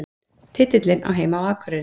Titillinn á heima á Akureyri